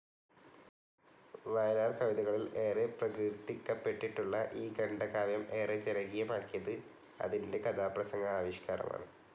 വയലാർ കവിതകളിൽ ഏറെ പ്രകീർത്തിക്കപ്പെട്ടിട്ടുള്ള ഈ ഖണ്ഡകാവ്യം ഏറെ ജനകീയമാക്കിയത് അതിൻ്റെ കഥാപ്രസംഗ ആവിഷ്കാരമാണ്